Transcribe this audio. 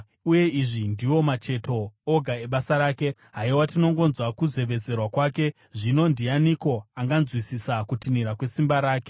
Uye izvi ndiwo macheto oga ebasa rake; haiwa tinongonzwa kuzevezera kwake! Zvino ndianiko anganzwisisa kutinhira kwesimba rake?”